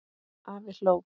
Afi hló.